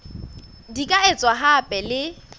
di ka etswa hape le